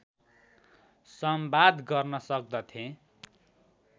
संवाद गर्न सक्दथे